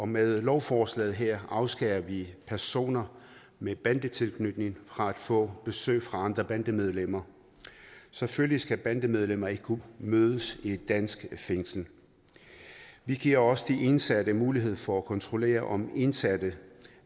med lovforslaget her afskærer vi personer med bandetilknytning fra at få besøg fra andre bandemedlemmer selvfølgelig skal bandemedlemmer ikke kunne mødes i et dansk fængsel vi giver også de ansatte mulighed for at kontrollere om indsatte